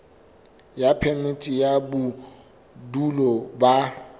ya phemiti ya bodulo ba